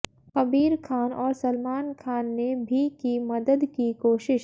कबीर खान और सलमान खान ने भी की मदद की कोशिश